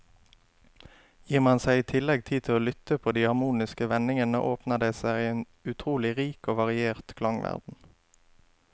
Gir man seg i tillegg tid til å lytte på de harmoniske vendingene, åpner det seg en utrolig rik og variert klangverden.